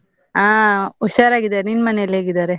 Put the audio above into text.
ಅಹ್, ಹುಷಾರಾಗಿದ್ದಾರೆ, ನಿನ್ ಮನೆಯಲ್ಲಿ ಹೇಗಿದ್ದಾರೆ?